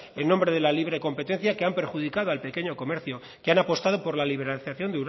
en nombre de la libre competencia que han perjudicado al pequeño comercio que han apostado por la liberalización